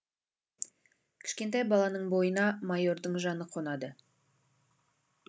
кішкентай баланың бойына майордың жаны қонады